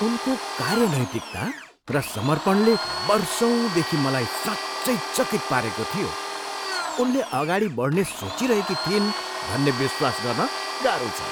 उनको कार्य नैतिकता र समर्पणले वर्षौँदेखि मलाई साँच्चै चकित पारेको थियो, उनले अगाडि बढ्ने सोचिरहेकी थिइन् भन्ने विश्वास गर्न गाह्रो छ।